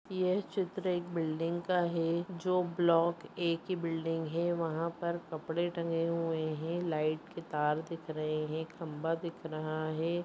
यह चित्र एक बिल्डिंग का हैजो ब्लॉक एक ही बिल्डिंग हैवहां पर कपड़े टंगे हुए हैंलाइट के तार दिख रहे हैंखंबा दिख रहा है।